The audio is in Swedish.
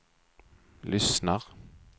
lyssnar